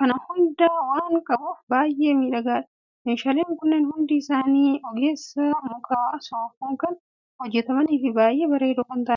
kana hunda waan qabuuf baay'ee miidhagaadha! Meeshaaleen kunneen hundi isaanii ogeessa muka soofuun kan hojjetamaniifi baay’ee bareedoo kan ta'anidha.